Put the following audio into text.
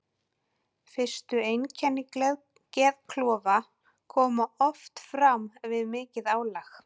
Fyrstu einkenni geðklofa koma oft fram við mikið álag.